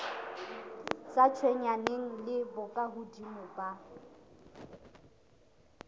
sa tshwenyaneng le bokahodimo ba